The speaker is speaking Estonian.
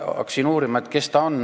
Hakkasin uurima, kes ta on.